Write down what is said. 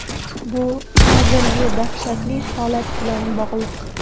Bu hozirgi dahshatli holat bilan bog‘liq.